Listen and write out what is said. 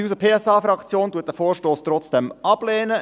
Die SP-JUSO-PSA-Fraktion lehnt diesen Vorstoss trotzdem ab.